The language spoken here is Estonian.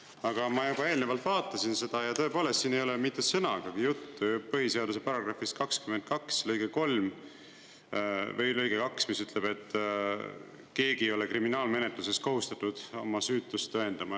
Aga ma juba eelnevalt vaatasin seda ja tõepoolest siin ei ole mitte sõnagagi juttu põhiseaduse paragrahvist 22 lõige 2, mis ütleb, et keegi ei ole kriminaalmenetluses kohustatud oma süütust tõendama.